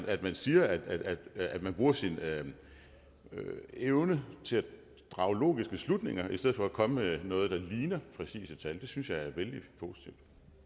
at man siger at man bruger sin evne til at drage logiske slutninger i stedet for at komme med noget der ligner præcise tal synes jeg er vældig positivt